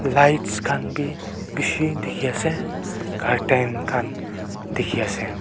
lights khanbe beshi dekhi asa curtain khan dekhi asa.